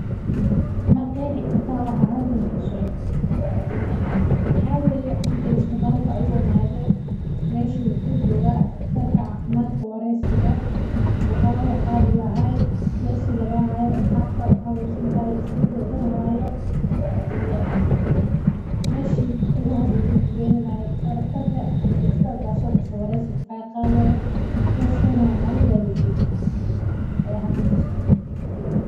Ma qeexi kartaa waxa halkan kasocdo waxa waye cunugan isbitaal ayuu imaade meeshan wuxuu jooga daqtarka wareesiga meesha lagaa haayo.